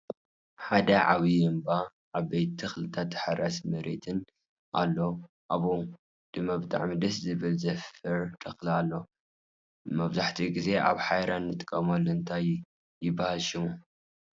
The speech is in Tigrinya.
ሓንቲ ዓባይ እምባ ን ዓበይቲ ተክልታትን ታሓራሳይ መሬትን ኣሎኣበኡ ድማ ብጣዕሚ ደሰ ዝብል ዘፋር ተክሊ ኣሎ። መብዛሕቲኡ ግዜ ኣብ ጎሓርያ ንጥቀመሎም እንታይ ይበሃል ሽሙ?